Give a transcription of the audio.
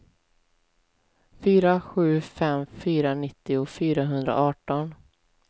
fyra sju fem fyra nittio fyrahundraarton